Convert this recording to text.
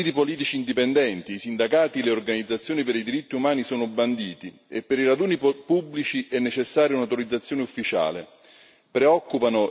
In Vietnam i partiti politici indipendenti, i sindacati e le organizzazioni per i diritti umani sono banditi e per i raduni pubblici è necessaria un'autorizzazione ufficiale.